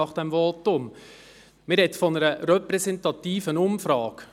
Man spricht von einer repräsentativen Umfrage.